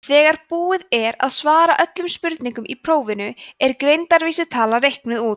þegar búið er að svara öllum spurningum í prófinu er greindarvísitala reiknuð út